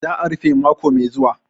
Za'a rufe mako mai zuwa.